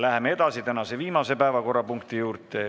Läheme edasi tänase viimase päevakorrapunkti juurde.